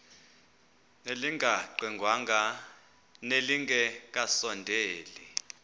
elingaqingqwanga nelinge kasondeli